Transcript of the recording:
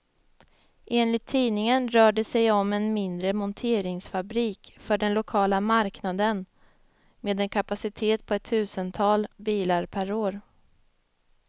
Enligt tidningen rör det sig om en mindre monteringsfabrik för den lokala marknaden, med en kapacitet på ett tusental bilar per år.